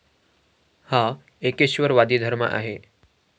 हा एकेश्वरवादी धर्म आहे.